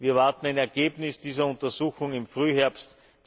Wir erwarten ein Ergebnis dieser Untersuchungen im Frühherbst